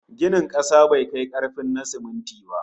Ginin kasa bai kai karfin na siminti ba